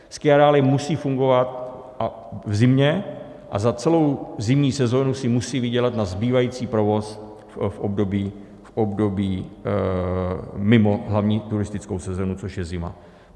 Skiareály musí fungovat v zimě a za celou zimní sezónu si musí vydělat na zbývající provoz v období mimo hlavní turistickou sezónu, což je zima.